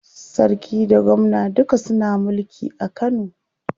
Sarki da gwamna duka suna mulki a Kano.